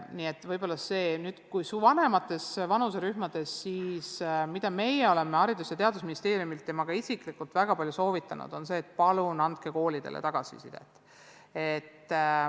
Kui vaadata vanemaid vanuserühmi, siis see, mida meie oleme Haridus- ja Teadusministeeriumis soovitanud ja mida ka ma isiklikult olen väga palju soovitanud, on see, et palun andke koolidele tagasisidet.